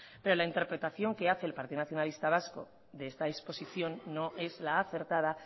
pero la interpretación que hace el partido nacionalista vasco de esta disposición no es la acertada